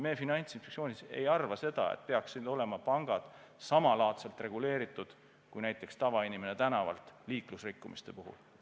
Meie Finantsinspektsioonis ei arva seda, et pangad peaksid olema samalaadselt reguleeritud kui näiteks tavainimene tänaval korda saadetud liiklusreeglite rikkumise puhul.